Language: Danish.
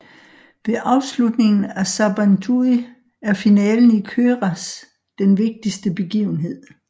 Ved afslutningen af Sabantuy er finalen i köräs den vigtigste begivenhed